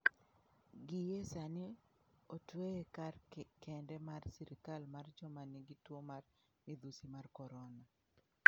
Gie sani otweye kar kende mar sirkal mar joma nigi tuo mar midhusi mar korona.